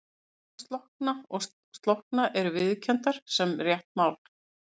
Bæði slokkna og slökkna eru viðurkenndar sem rétt mál.